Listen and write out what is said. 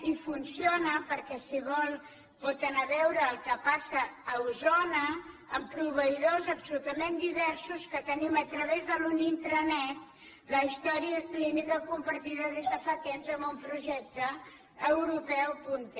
i funciona perquè si vol pot anar a veure el que passa a osona amb proveïdors absolutament diversos que tenim a través d’una intranet la història clínica compartida des de fa temps amb un projecte europeu punter